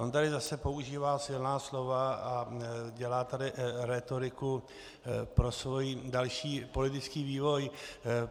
On tady zase používá silná slova a dělá tady rétoriku pro svůj další politický vývoj.